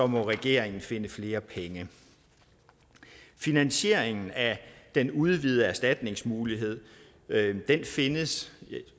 må regeringen finde flere penge finansieringen af den udvidede erstatningsmulighed findes